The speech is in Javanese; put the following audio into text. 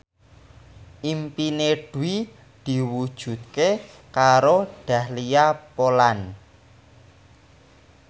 impine Dwi diwujudke karo Dahlia Poland